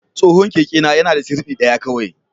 Tsohon kekena yana da sirdi ɗaya kawai.